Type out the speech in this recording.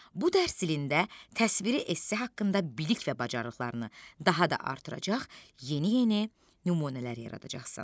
Bu dərs ilində təsviri esse haqqında bilik və bacarıqlarını daha da artıracaq, yeni-yeni nümunələr yaradacaqsan.